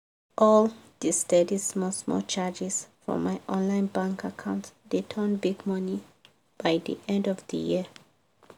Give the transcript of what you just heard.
all the steady small small charges from my online bank account dey turn big money by the end of the year.